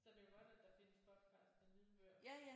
Så er det jo godt at der findes podcasts og lydbøger